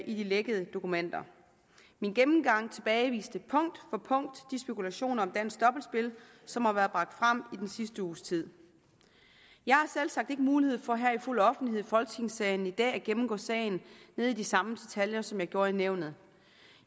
i de lækkede dokumenter min gennemgang tilbageviste punkt for punkt de spekulationer om dansk dobbeltspil som har været bragt frem i den sidste uges tid jeg har selvsagt ikke mulighed for her i fuld offentlighed i folketingssalen i dag at gennemgå sagen nede i de samme detaljer som jeg gjorde i nævnet